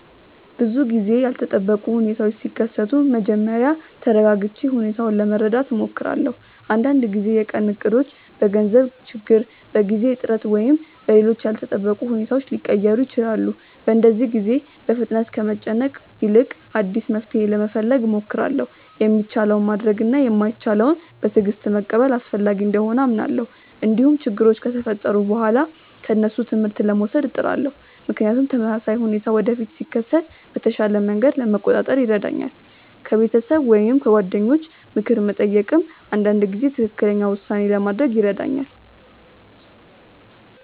ብዙ ጊዜ ያልተጠበቁ ሁኔታዎች ሲከሰቱ መጀመሪያ ተረጋግቼ ሁኔታውን ለመረዳት እሞክራለሁ። አንዳንድ ጊዜ የቀን እቅዶች በገንዘብ ችግር፣ በጊዜ እጥረት ወይም በሌሎች ያልተጠበቁ ሁኔታዎች ሊቀየሩ ይችላሉ። በእንደዚህ ጊዜ በፍጥነት ከመጨነቅ ይልቅ አዲስ መፍትሔ ለመፈለግ እሞክራለሁ። የሚቻለውን ማድረግ እና የማይቻለውን በትዕግስት መቀበል አስፈላጊ እንደሆነ አምናለሁ። እንዲሁም ችግሮች ከተፈጠሩ በኋላ ከእነሱ ትምህርት ለመውሰድ እጥራለሁ፣ ምክንያቱም ተመሳሳይ ሁኔታ ወደፊት ሲከሰት በተሻለ መንገድ ለመቆጣጠር ይረዳኛል። ከቤተሰብ ወይም ከጓደኞች ምክር መጠየቅም አንዳንድ ጊዜ ትክክለኛ ውሳኔ ለማድረግ ይረዳኛል።